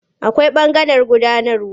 Akwai ɓangaren gudanarwa.